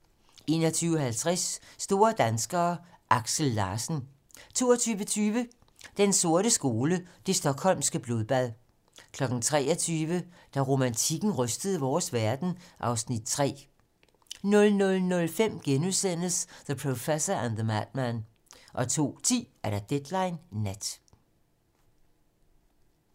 21:50: Store danskere: Aksel Larsen 22:20: Den sorte skole: Det Stockholmske Blodbad 23:00: Da romantikken rystede vores verden (Afs. 3) 00:05: The Professor and the Madman * 02:10: Deadline nat